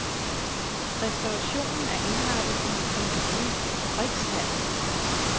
Restaurationen er indrettet i en gammel fabrikshal.